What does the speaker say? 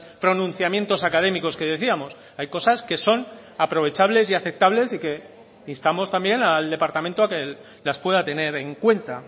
pronunciamientos académicos que decíamos hay cosas que son aprovechables y aceptables y que instamos también al departamento a que las pueda tener en cuenta